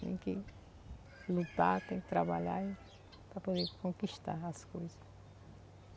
Tem que lutar, tem que trabalhar para poder conquistar as coisas.